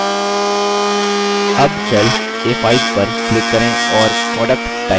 अब cell a5 पर click करें और product type करें